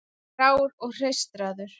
Grár og hreistraður.